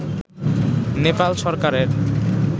নেপাল সরকারের